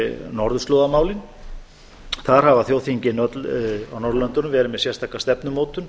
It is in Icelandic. norðurslóðamálin þar hafa þjóðþingin öll á norðurlöndunum verið með sérstaka stefnumótun